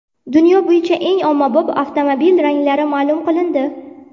Dunyo bo‘yicha eng ommabop avtomobil ranglari ma’lum qilindi.